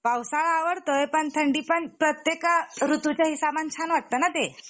पावसाळा आवडतोय पण थंडीपण प्रत्येका ऋतूच्या हिसाबने छान वाटतना ते